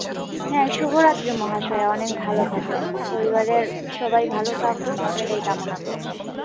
হ্যাঁ শুভরাত্রি মহাশয়া অনেক ভালো থাকবেন। পরিবারের সবাই ভালো থাকুক এটাই কামনা করছি।